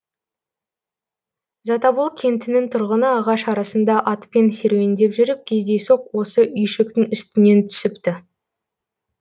затобол кентінің тұрғыны ағаш арасында атпен серуендеп жүріп кездейсоқ осы үйшіктің үстінен түсіпті